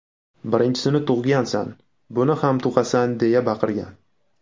Birinchisini tug‘gansan, buni ham tug‘asan”, deya baqirgan.